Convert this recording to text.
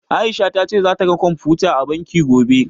A'isha ta ce zata ga computers a banki, gobe.